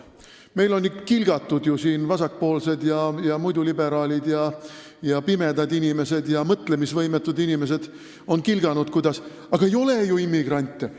Meil on siin kilgatud – vasakpoolsed ja muidu liberaalid ja pimedad inimesed ja mõtlemisvõimetud inimesed on kilganud: "Meil ei ole ju immigrante.